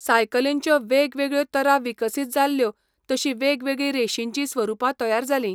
सायकलींच्यो वेगवेगळ्यो तरा विकसीत जाल्यो तशीं वेगवेगळीं रेशींचीं स्वरुपां तयार जालीं.